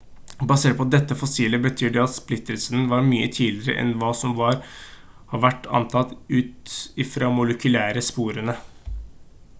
basert på dette fossilet betyr det at splittelsen var mye tidligere enn hva som har vært antatt ut ifra molekylære sporene